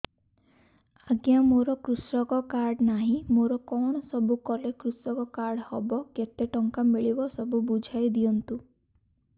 ଆଜ୍ଞା କୃଷକ କାର୍ଡ ନାହିଁ ମୋର କଣ ସବୁ କଲେ କୃଷକ କାର୍ଡ ହବ କେତେ ଟଙ୍କା ମିଳିବ ସବୁ ବୁଝାଇଦିଅନ୍ତୁ